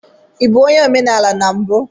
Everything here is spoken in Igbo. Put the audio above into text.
Ị bụ onye omenala na mbụ?